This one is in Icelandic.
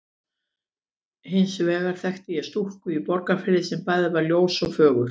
Hins vegar þekkti ég stúlku í Borgarfirði sem bæði var ljós og fögur.